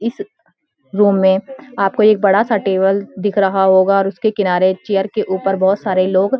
इस रूम में आपको एक बड़ा सा टेबल दिख रहा होगा और उसके किनारे चेयर के ऊपर बहुत सारे लोग --